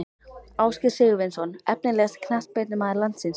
Ásgeir Sigurvinsson Efnilegasti knattspyrnumaður landsins?